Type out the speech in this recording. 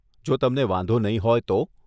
જો તમને વાંધો નહીં હોય તો..